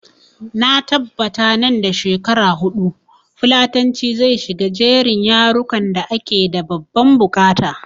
Na tabbata nan da shekara huɗu fulatanci zai shiga jerin yarukan da ake da babban buƙata